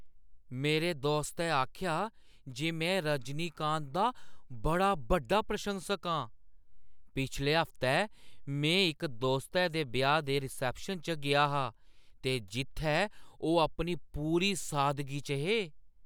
मेरे दोस्तै आखेआ जे में रजनीकांत दा बड़ा बड्डा प्रशंसक आं। "पिछले हफ्तै, में इक दोस्तै दे ब्याह् दे रिसेप्शन च गेआ हा ते जित्थै ओह् अपनी पूरी सादगी च हे"